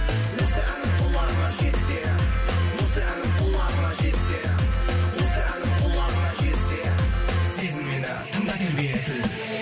осы әнім құлағыңа жетсе осы әнім құлағыңа жетсе осы әнім құлағыңа жетсе сезіммен тыңда